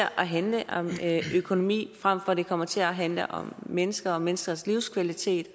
at handle om økonomi frem for at det kommer til at handle om mennesker og menneskers livskvalitet